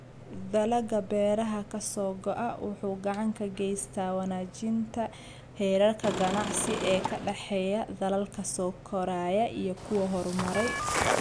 Dalagga beeraha ka soo go�a waxa uu gacan ka geystaa wanaajinta heerarka ganacsi ee ka dhexeeya dalalka soo koraya iyo kuwa horumaray.